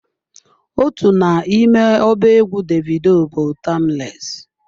Otu n'ime ọba egwu Davido bụ "Timeless"